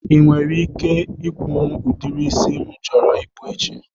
Ị nwere ike ikwunwu udiri isi m chọrọ ịkpụ echi?